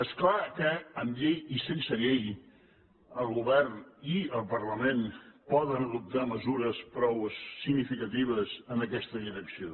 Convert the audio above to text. és clar que amb llei i sense llei el govern i el parlament poden adoptar mesures prou significatives en aquesta direcció